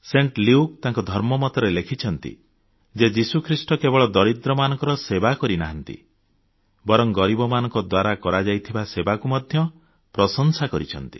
ସନ୍ଥ Luke ତାଙ୍କ ଧର୍ମବାଣୀରେ ଲେଖିଛନ୍ତି ଯେ ଯୀଶୁଖ୍ରୀଷ୍ଟ କେବଳ ଦରିଦ୍ରମାନଙ୍କ ସେବା କରିନାହାନ୍ତି ବରଂ ଗରିବମାନଙ୍କ ଦ୍ୱାରା କରାଯାଇଥିବା ସେବାକୁ ମଧ୍ୟ ପ୍ରଶଂସା କରିଛନ୍ତି